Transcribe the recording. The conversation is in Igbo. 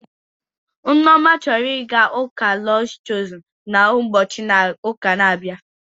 Nneoma chọrọ ịga ụka Lọds Chozun na ụbochi ụka na abịa